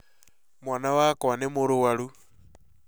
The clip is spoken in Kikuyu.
Mwana wakwa nĩ mũrũaru